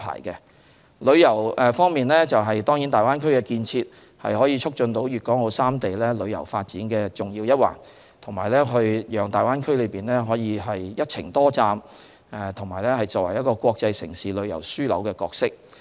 在旅遊方面，當然大灣區建設是促進粵港澳三地旅遊發展的重要一環，讓大灣區可以擔任"一程多站"和"國際城市旅遊樞紐"的角色。